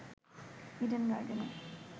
Eden গার্ডেনে